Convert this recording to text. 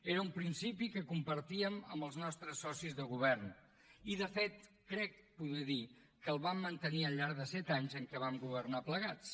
era un principi que compartíem amb els nostres socis de govern i de fet crec poder dir que el vam mantenir al llarg dels set anys en què vam governar plegats